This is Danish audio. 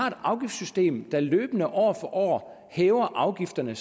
et afgiftssystem der løbende år for år hæver afgifterne